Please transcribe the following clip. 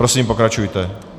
Prosím, pokračujte.